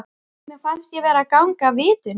Mér fannst ég vera að ganga af vitinu.